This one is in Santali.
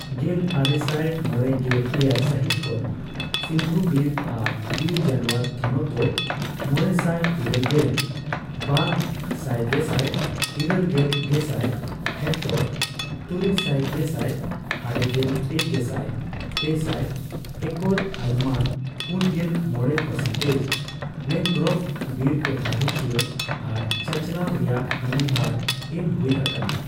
ᱜᱮᱞ ᱟᱨᱮᱥᱟᱭ ᱢᱚᱲᱮᱜᱮᱞᱮᱭᱟᱭ ᱥᱟᱹᱦᱤᱛ ᱠᱷᱚᱱ ᱥᱤᱱᱫᱷᱩ ᱵᱤᱨ ᱟᱨ ᱵᱤᱨᱡᱟᱱᱚᱣᱟᱨ ᱛᱷᱚᱱᱚᱛᱫᱚ ᱢᱚᱲᱮᱥᱟᱭ ᱤᱨᱟᱹᱞ ᱜᱮᱞ ᱵᱟᱨ ᱥᱟᱭᱜᱮᱥᱟᱭ ᱤᱨᱟᱹᱞ ᱜᱮᱞ ᱜᱮᱥᱟᱭ ᱦᱮᱠᱴᱚᱨ,(ᱛᱩᱨᱩᱭ ᱥᱟᱭ ᱜᱮᱥᱟᱭ ᱟᱨᱮᱜᱮᱞ ᱯᱮ ᱜᱮᱥᱟᱭ ᱯᱮᱥᱟᱭ ᱮᱠᱚᱨ, ᱟᱭᱩᱢᱟᱹᱱ ᱯᱩᱱᱜᱮᱞ ᱢᱚᱲᱮ ᱯᱟᱨᱥᱮᱱᱴᱮᱡ ) ᱢᱮᱱᱚᱜᱨᱳᱯᱷᱼᱵᱤᱨ ᱴᱚᱴᱷᱟ ᱨᱩᱠᱷᱤᱭᱟᱹ ᱟᱨ ᱪᱟᱪᱟᱞᱟᱣ ᱨᱮᱭᱟᱜ ᱟᱹᱜᱤᱵᱷᱟᱨ ᱮᱢ ᱦᱩᱭ ᱟᱠᱟᱱᱟ ᱾